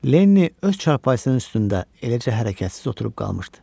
Lenni öz çarpayısının üstündə eləcə hərəkətsiz oturub qalmışdı.